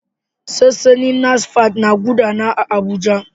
Sansanin NASFAT na gudana a Abuja.